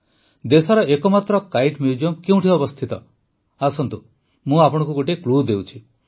ଦେଶର ଏକମାତ୍ର kite museum କେଉଁଠି ଅବସ୍ଥିତ ଆସନ୍ତୁ ମୁଁ ଆପଣଙ୍କୁ ଗୋଟିଏ କ୍ଲୁ ଦେଉଛି